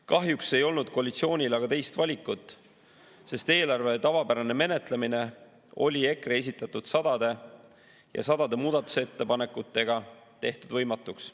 Kahjuks ei olnud koalitsioonil aga teist valikut, sest eelarve tavapärane menetlemine oli EKRE esitatud sadade ja sadade muudatusettepanekutega tehtud võimatuks.